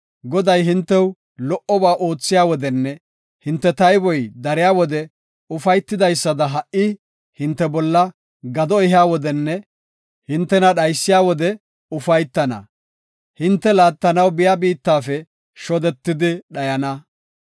Goday, hintew lo77oba oothiya wodenne hinte tayboy dariya wode ufaytidaysada ha77i hinte bolla gado ehiya wodenne hintena dhaysiya wode ufaytana; hinte laattanaw biya biittafe shodetidi dhayana.